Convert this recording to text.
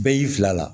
Bɛɛ y'i fila la